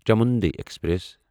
Chamundi express